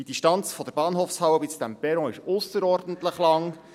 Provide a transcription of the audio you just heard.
Die Distanz von der Bahnhofhalle bis zu diesem Perron ist ausserordentlich lang.